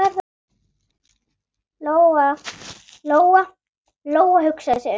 Lóa-Lóa hugsaði sig um.